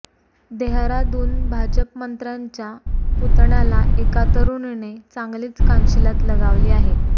देहराडून भाजप मंत्र्याच्या पुतण्याला एका तरूणीने चांगलीच कानशीलात लगावली आहे